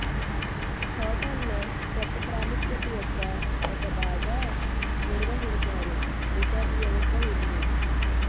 hotel లో గొప్ప ప్రాముఖ్యత యొక్క ఒక బాగా నిర్వహించారు రిసార్ట్ వ్యవస్థ ఉంది